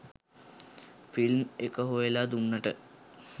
Film එක හොයලා දුන්නට.